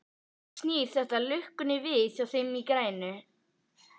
Snýr þetta lukkunni við hjá þeim grænu?